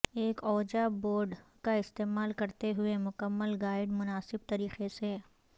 ایک Ouija board کا استعمال کرتے ہوئے مکمل گائیڈ مناسب طریقے سے